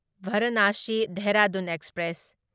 Varanasi Dehradun express